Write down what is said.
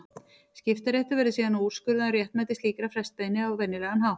Skiptaréttur verður síðan að úrskurða um réttmæti slíkrar frestbeiðni á venjulegan hátt.